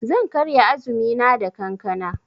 Zan karya azumina da kankana.